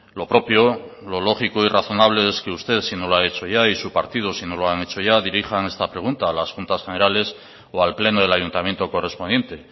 lo propio lo lógico y razonable es que usted si no lo ha hecho ya y su partido si no lo han hecho ya dirijan esta pregunta a las juntas generales o al pleno del ayuntamiento correspondiente